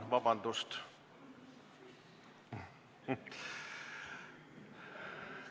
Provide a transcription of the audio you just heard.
Vabandust, siiski on!